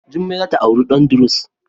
jummai za ta auren dan druze.